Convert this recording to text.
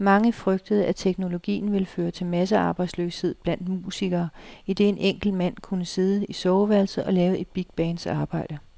Mange frygtede, at teknologien ville føre til massearbejdsløshed blandt musikere, idet en enkelt mand kunne sidde i soveværelset og lave et bigbands arbejde.